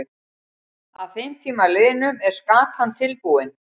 Að þeim tíma liðnum er skatan tilbúin.